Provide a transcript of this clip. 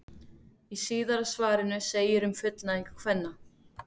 Í síðara svarinu segir um fullnægingu kvenna: